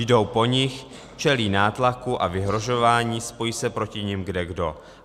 Jdou po nich, čelí nátlaku a vyhrožování, spojí se proti nim kdekdo.